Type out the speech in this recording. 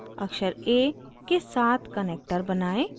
अक्षर a के साथ connector बनाएं